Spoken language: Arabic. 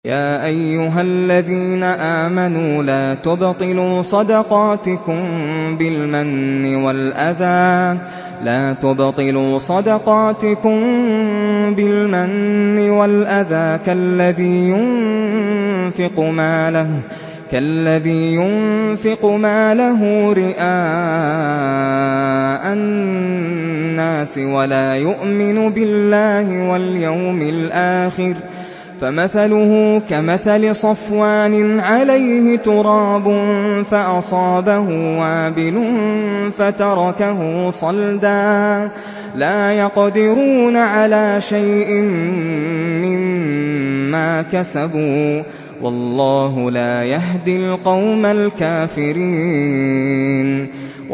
يَا أَيُّهَا الَّذِينَ آمَنُوا لَا تُبْطِلُوا صَدَقَاتِكُم بِالْمَنِّ وَالْأَذَىٰ كَالَّذِي يُنفِقُ مَالَهُ رِئَاءَ النَّاسِ وَلَا يُؤْمِنُ بِاللَّهِ وَالْيَوْمِ الْآخِرِ ۖ فَمَثَلُهُ كَمَثَلِ صَفْوَانٍ عَلَيْهِ تُرَابٌ فَأَصَابَهُ وَابِلٌ فَتَرَكَهُ صَلْدًا ۖ لَّا يَقْدِرُونَ عَلَىٰ شَيْءٍ مِّمَّا كَسَبُوا ۗ وَاللَّهُ لَا يَهْدِي الْقَوْمَ الْكَافِرِينَ